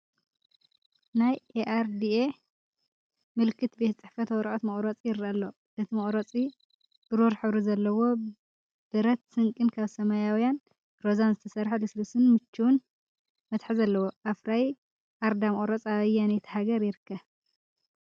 ናይ ARDA ምልክት ቤት ጽሕፈት ወረቐት መቑረጺ ይርአ ኣሎ። እቲ መቑረጺ ብሩር ሕብሪ ዘለዎ ብረት ስንቂን ካብ ሰማያውን ሮዛን ዝተሰርሐ ልስሉስን ምቹእን መትሓዚ ኣለዎ። ኣፍራዪ "ኣርዳ" መቑረጺ ኣብ ኣየነይቲ ሃገር ይርከብ?